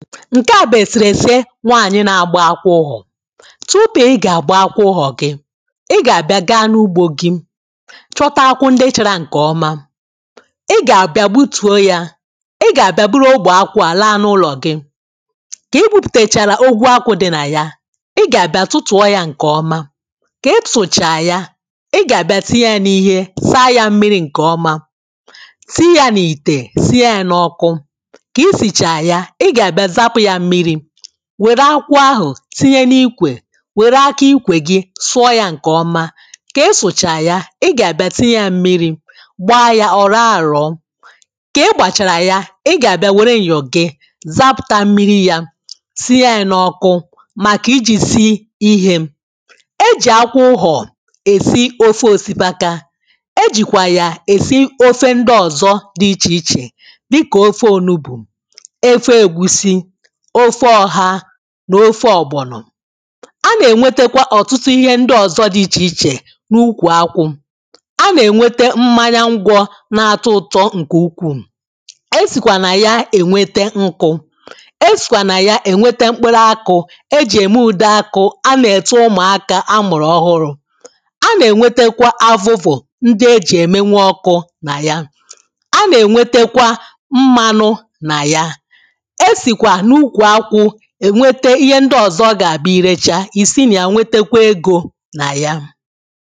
ǹke à bụ èsèrèse nwaànyị na-agba akwụ ụhọ̀ tupù ị gà-àgba akwụ ụhọ̀ gị ị gà-àbia gaa n’ugbō gị̄ chọta akwụ ndị chārā ǹkè ọma ị gà-àbịa gbutùo yā ị gà-àbị̣a buru ogbè akwụ à laa n’ụlò gị kà ị gbupùtèchàrà ogwu akwụ̄ dị nà ya ị gà-àbịa tụtù̩ọ yā ṅ̀kè ọma kà ị tụchàrà ya ị gà-àbịa tinye yā n’ihe saa yā mmirī ṅ̀kè ọma tii yā n’ìtè sii yā n’ọ̄kụ̄ kà i sìchà ya ị gà àbịa zapụ̄ yā mmirī wère akwụ ahụ̀ tinye n’ikwè wère akaikwè gi̩ sụọ yā ṅ̀kè ọma kà ị sụ̀cha ya, ị gà-àbịá tinye ya ḿmirī gbaa ya ọ̀ rọ̀ọ àrọ̀ọ kà ị gbàchàrà ya, ị gà-àbịa wère m̀yọ̀ gị zapụ̀ta mmiri yā sie yā n’ọkụ màkà ijī si ihē e jì akwụ ụhọ̀ èsi ofe òsikapa e jìkwa ya èsi ofe ndị ọ̀zọ dị ichèichè dịkà ofe onugbù ofe ēgwūsī ofe ọ̄hā nà ofe ògbònò a nà-ènwetakwa ọ̀tụtụ ihe ndị ọzọ dị̄ ichèichè n’ukwù akwụ̄ a nà-ènwete mmanya ṅgwọ̀ na-atọ ụ̄tọ̄ ṅ̀kè ukwuù e sìkwà nà ya ènwete ṅkụ̄ e sìkwà nà ya ènwete mkpụrụakụ e jì ème ùdeakụ a nà-ète ụmụaka a mùrù ọhụrụ a nà-ènwètàkwà avụ̀vụ̀ ndị e jì èmenwu ọkụ̄ nà ya a nà-ènwetekwa mmanụ nà ya e sìkwà n’ukwù akwụ è nweta ihe ndi ọzọ̀ ọ gà-abụ i rechaa ì si nà ya nwetekwe egō nà ya